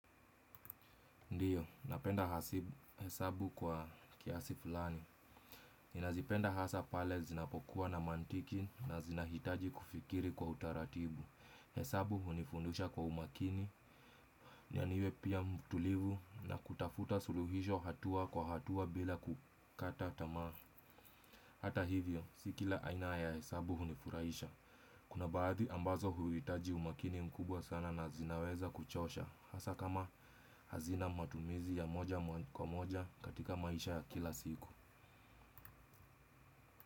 Ndiyo, napenda hesabu kwa kiasi fulani. Ninazipenda hasa pale zinapokuwa na mantiki na zinahitaji kufikiri kwa utaratibu. Hesabu hunifundusha kwa umakini, na niwe pia mtulivu na kutafuta suluhisho hatua kwa hatua bila kukata tamaa. Hata hivyo, si kila aina ya hesabu hunifurahisha. Kuna baadhi ambazo huitaji umakini mkubwa sana na zinaweza kuchosha. Hasa kama hazina matumizi ya moja kwa moja katika maisha kila siku.